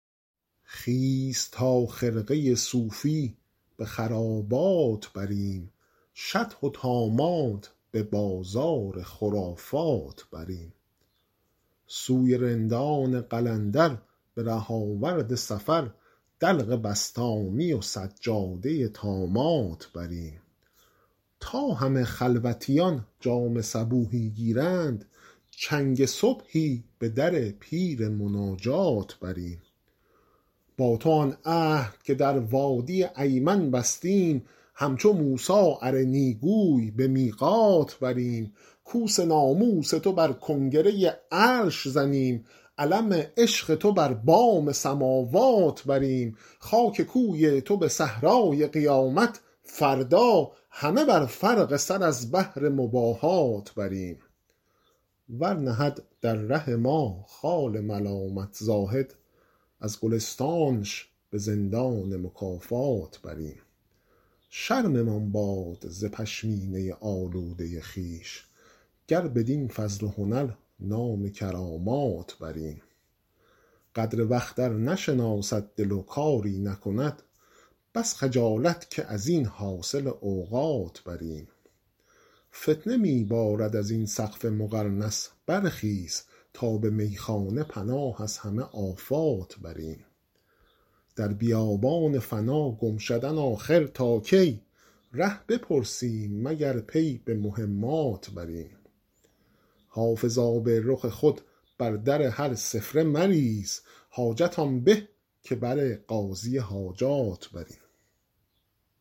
خیز تا خرقه صوفی به خرابات بریم شطح و طامات به بازار خرافات بریم سوی رندان قلندر به ره آورد سفر دلق بسطامی و سجاده طامات بریم تا همه خلوتیان جام صبوحی گیرند چنگ صبحی به در پیر مناجات بریم با تو آن عهد که در وادی ایمن بستیم همچو موسی ارنی گوی به میقات بریم کوس ناموس تو بر کنگره عرش زنیم علم عشق تو بر بام سماوات بریم خاک کوی تو به صحرای قیامت فردا همه بر فرق سر از بهر مباهات بریم ور نهد در ره ما خار ملامت زاهد از گلستانش به زندان مکافات بریم شرممان باد ز پشمینه آلوده خویش گر بدین فضل و هنر نام کرامات بریم قدر وقت ار نشناسد دل و کاری نکند بس خجالت که از این حاصل اوقات بریم فتنه می بارد از این سقف مقرنس برخیز تا به میخانه پناه از همه آفات بریم در بیابان فنا گم شدن آخر تا کی ره بپرسیم مگر پی به مهمات بریم حافظ آب رخ خود بر در هر سفله مریز حاجت آن به که بر قاضی حاجات بریم